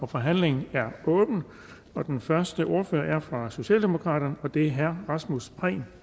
forhandlingen er åbnet og den første ordfører er fra socialdemokraterne og det er herre rasmus prehn